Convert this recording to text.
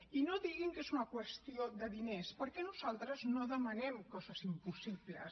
i no diguin que és una qüestió de diners perquè nosaltres no demanem coses impossibles